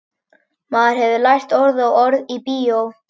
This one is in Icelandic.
Maður hefur nú lært orð og orð í bíó.